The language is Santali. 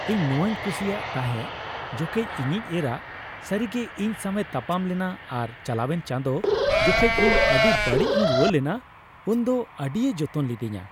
ᱤᱧ ᱱᱚᱶᱟᱧ ᱠᱩᱥᱤᱭᱟᱜ ᱛᱟᱦᱮᱸ ᱡᱚᱠᱮᱡ ᱤᱧᱤᱡ ᱮᱨᱟ ᱥᱟᱹᱨᱤᱜᱮ ᱤᱧ ᱥᱟᱶᱮ ᱛᱟᱯᱟᱢ ᱞᱮᱱᱟ ᱟᱨ ᱪᱟᱞᱟᱣᱮᱱ ᱪᱟᱸᱫᱳ ᱡᱚᱠᱷᱮᱡ ᱤᱧ ᱟᱹᱰᱤ ᱵᱟᱹᱲᱤᱡ ᱤᱧ ᱨᱩᱣᱟᱹ ᱞᱮᱱᱟ ᱩᱱ ᱫᱚ ᱟᱹᱰᱤᱭ ᱡᱚᱛᱚᱱ ᱞᱤᱫᱤᱧᱟ ᱾